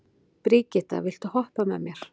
Brigitta, viltu hoppa með mér?